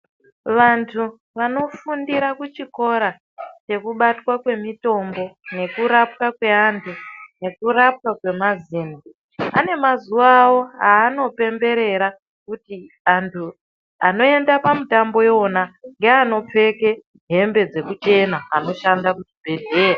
Vantu vanifundira kuchikora chekubatwa kwemitombo nekurapwa kwevantu nekurapwa kwemazino ane mazuwa awo aanopemberera kuti antu anoenda pamutambo iwona ndeanopfeke hembe dzekuchena anoshanda kuzvibhedhleya.